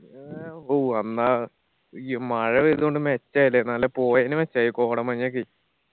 ഈ മഴ വേരുന്നോണ്ട് മെച്ചായി ല്ലേ നല്ല പോയെന്ന് മെച്ചായി കോടമഞ്ഞൊക്കെ